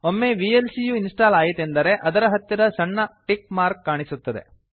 ಒಮ್ಮೆ ವಿಎಲ್ಸಿ ಯು ಇನ್ಸ್ಟಾಲ್ ಆಯಿತೆಂದರೆ ಅದರ ಹತ್ತಿರ ಸಣ್ಣ ಟಿಕ್ ಮಾರ್ಕ್ ಕಾಣಿಸುತ್ತದೆ